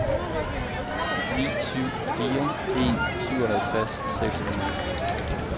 ni syv fire en syvoghalvtreds seks hundrede